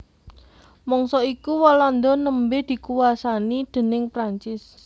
Mangsa iku Walanda nembé dikuwasani déning Prancis